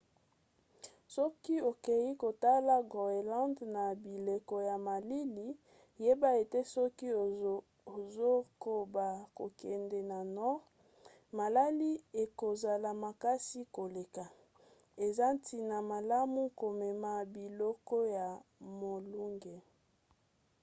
soki okei kotala groenland na bileko ya malili yeba ete soki ozokoba kokende na nord malili ekozala makasi koleka eza ntina malamu komema biloko ya molunge